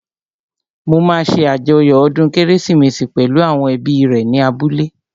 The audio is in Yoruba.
Mo máa ṣé àjọyọ̀ ọdún kérésìmesì pẹ̀lú àwọn ẹbí rẹ̀ ní abúlé